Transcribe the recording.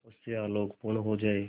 उससे आलोकपूर्ण हो जाए